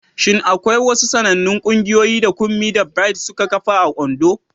Shin akwai wasu sanannun ƙungiyoyi da Kunmi da Bright suka kafa a Ondo?